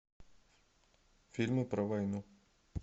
фильмы про войну